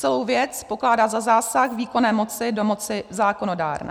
Celou věc pokládá za zásah výkonné moci do moci zákonodárné.